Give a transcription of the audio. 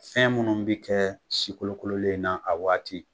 Fɛn minnu bɛ kɛ sikolokololen in na a waati